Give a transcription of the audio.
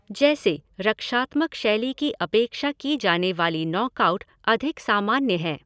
जैसे, रक्षात्मक शैली की अपेक्षा की जाने वाली नॉकआउट अधिक सामान्य हैं।